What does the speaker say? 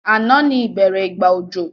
Ànán ni ìbẹ́rẹ́ ìgbà òjò